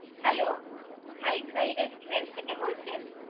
Hello, Khai Khai restaurant থেকে বলছেন।